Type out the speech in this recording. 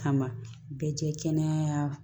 Kama bɛɛ jɛ kɛnɛya